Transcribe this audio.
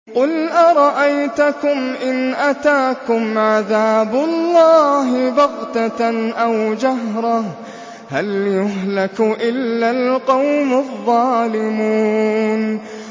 قُلْ أَرَأَيْتَكُمْ إِنْ أَتَاكُمْ عَذَابُ اللَّهِ بَغْتَةً أَوْ جَهْرَةً هَلْ يُهْلَكُ إِلَّا الْقَوْمُ الظَّالِمُونَ